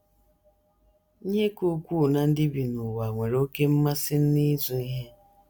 Ihe ka ukwuu ná ndị bi n’ụwa nwere oké mmasị n’ịzụ ihe.